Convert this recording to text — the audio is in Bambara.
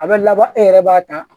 A bɛ laban e yɛrɛ b'a ta